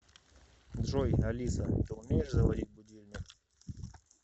джой алиса ты умеешь заводить будильник